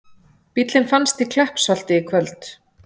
Bíllinn fannst í Kleppsholti í kvöld